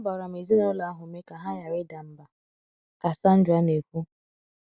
Agbara m ezinụlọ ahụ ume ka ha ghara ịda mbà, ka Sandra na - ekwu.